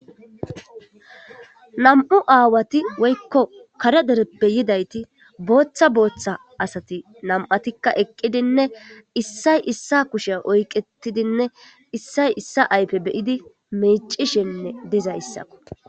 Namu' awati woykko kare dereppe yidageti boththa boththa asati nama'tika eqidinne issay issay kushe oyqetidinne issay issa ayfe bee'tidi micishe dizaysakko